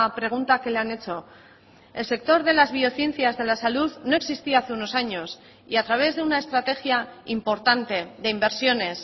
pregunta que le han hecho el sector de las biociencias de la salud no existía hace unos años y a través de una estrategia importante de inversiones